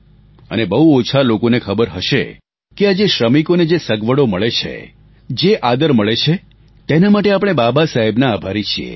અને બહુ ઓછા લોકોને ખબર હશે કે આજે શ્રમિકોને જે સગવડો મળે છે જે આદર મળે છે તેના માટે આપણે બાબા સાહેબના આભારી છીએ